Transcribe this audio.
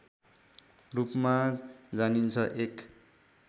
रूपमा जानिन्छ एक